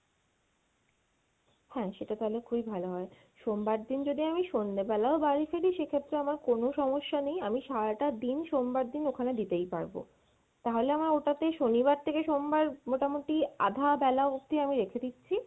হ্যাঁ, সেটা তাহলে খুবই ভালো হয় সোমবার দিন যদি আমি সন্ধ্যাবেলা ও বাড়ি ফিরি সেক্ষেত্রেও আমার কোনো সমস্যা নেই, আমি সারাটা দিন সোমবার দিন ওখানে দিতেই পারবো, তাহলে আমার ওটাতে শনিবার থেকে সোমবার মোটামুটি আধা বেলা অব্দি আমি রেখে দিচ্ছি